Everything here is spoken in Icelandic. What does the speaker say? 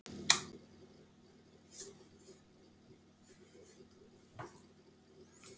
Andri Ólafsson: Af hverju ekki?